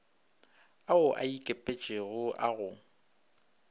ao a ikepetšego a go